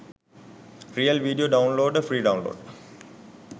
real video downloader free download